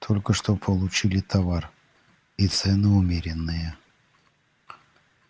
только что получили товар и цены умеренные